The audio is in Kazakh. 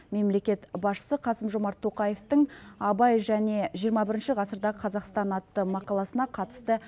мемлекет басшысы қасым жомарт тоқаевтың абай және жиырма бірінші ғасырдағы қазақстан атты мақаласына қатысты